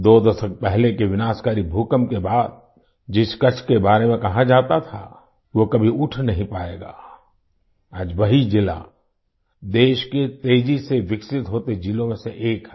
दो दशक पहले के विनाशकारी भूकंप के बाद जिस कच्छ के बारे में कहा जाता था कि वो कभी उठ नहीं पाएगा आज वही जिला देश के तेजी से विकसित होते जिलों में से एक है